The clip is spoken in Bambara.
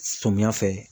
Sɔmiya fɛ